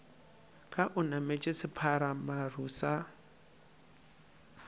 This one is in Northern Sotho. ka o nametše sephatšamaru sa